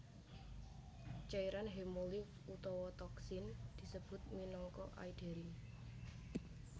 Cairan hemolimf utawa toksin disebut minangka aederin